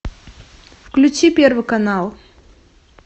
включи первый канал